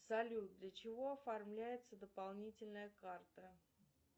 салют для чего оформляется дополнительная карта